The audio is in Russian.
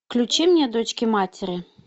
включи мне дочки матери